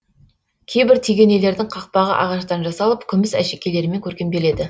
кейбір тегенелердің қақпағы ағаштан жасалып күміс әшекейлермен көркемделеді